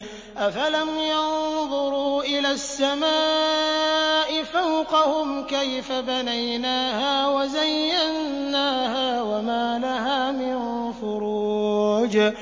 أَفَلَمْ يَنظُرُوا إِلَى السَّمَاءِ فَوْقَهُمْ كَيْفَ بَنَيْنَاهَا وَزَيَّنَّاهَا وَمَا لَهَا مِن فُرُوجٍ